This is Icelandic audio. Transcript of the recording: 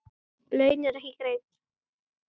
Laun eru ekki greidd.